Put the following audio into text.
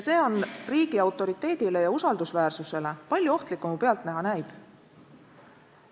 See on riigi autoriteedile ja usaldusväärsusele palju ohtlikum, kui pealtnäha näib.